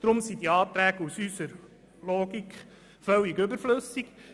Deshalb sind diese Anträge gemäss unserer Logik völlig überflüssig.